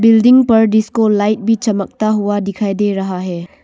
Building पर disco light भी चमकता हुआ दिखाई दे रहा है।